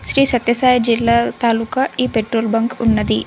శ్రీ సత్య సాయి జిల్లా తాలూకా ఈ పెట్రోల్ బంక్ ఉన్నది.